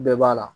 Bɛɛ b'a la